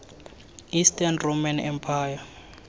eastern roman empire